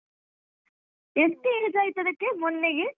ಎಷ್ಟ್ age ಆಯ್ತ್ ಅದ್ಕೆ ಮೊನ್ನೆಗೆ?